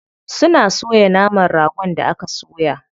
Suna soya naman ragon da aka soya.